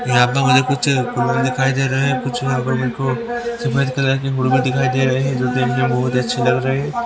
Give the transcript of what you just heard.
यहां पर मुझे कुछ दिखाई दे रहे हैं कुछ मेरे को सफेद कलर के दिखाई दे रहे हैं जो देखने में बहुत अच्छी लग रहे हैं.